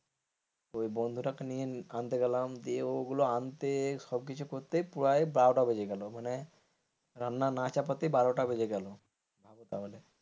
ওই বন্ধুটাকে নিয়ে আনতে গেলাম দিয়ে ওগুলো আনতে সবকিছু করতে প্রায় বারোটা বেজে গেল মানে রান্না না চাপাতেই বারোটা বেজে গেল তাহলে।